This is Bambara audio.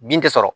Bin tɛ sɔrɔ